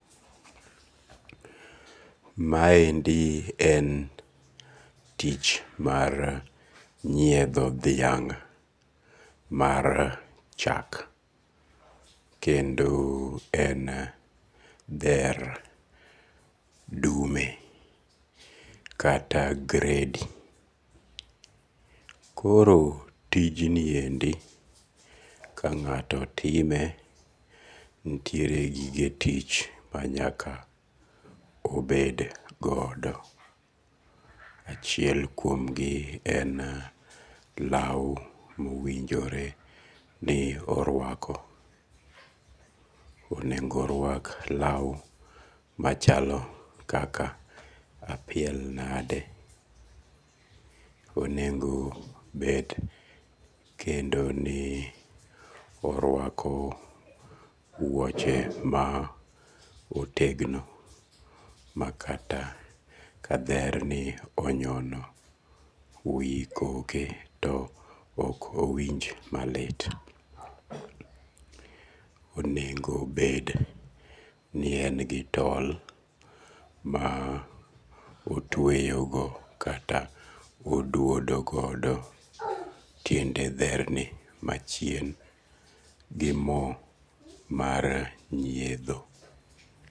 Maendi en tich mar nyiedho dhiang' mar chak. Kendo en dher dume kata gredi. Koro tijniendi kang'ato time nitiere gige tich manyaka obed godo. Achiel kuom gi en law mowinjore ni orwako. Onego orwak law machalo kaka apiel nade. Onengo bet kendo nii orwako wuoche ma otegno ma kata adher ni onyono wi koke to ok owinj malit. Owinjo bed ni en gi tol ma otweyogo kata oduodo godo tiende dher ni amchien gi mo mar nyiedho.